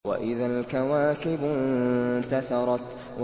وَإِذَا الْكَوَاكِبُ انتَثَرَتْ